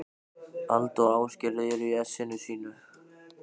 Alda og Ásgerður eru í essinu sínu.